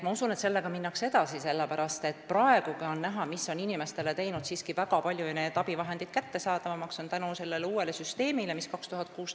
Sellega minnakse edasi, sellepärast et praegugi on näha, et uus süsteem, mis 2016. aastal juurdus, on teinud siiski abivahendid palju paremini kättesaadavamaks.